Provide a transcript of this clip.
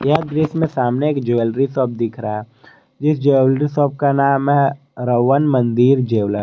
अब इसमें सामने एक ज्वेलरी शॉप दिख रहा है जिस ज्वेलरी शॉप का नाम है रवण मंदिर ज्वेलर ।